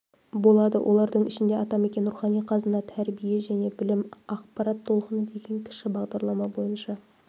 болады олардың ішінде атамекен рухани қазына тәрбие және білім ақпарат толқыны деген кіші бағдарлама бойынша